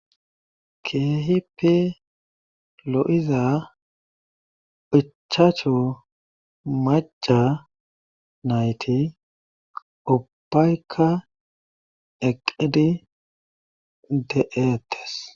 keehipi lo7iza ichacha maca nayti ubbayka eqidi de7eates